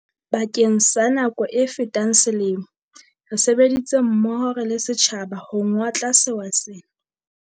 Bakeng sa nako e fetang selemo, re sebeditse mmoho re le setjhaba ho ngotla sewa sena.